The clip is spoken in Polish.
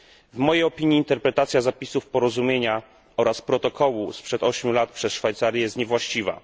W mojej opinii interpretacja zapisów porozumienia oraz protokołu sprzed ośmiu lat przez Szwajcarię jest niewłaściwa.